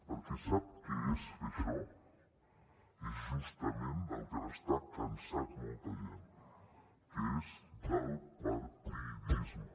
perquè sap què és fer això és justament del que n’està cansat molta gent que és del partidisme